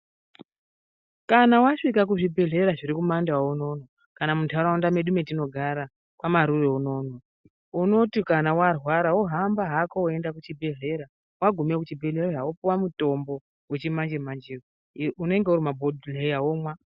Kana wasvika kuzvibhedhlera zvirikumaNdau unoono kana munharaunda medu metinogara kwaMarure unoono. Unoti kana warwara wohamba hako weienda kuchibhedhlera. Wagumeyo kuchibhedhlera wopuwa mutombo wechimanje-manjeyo unenge uri mumabhohleya womwa.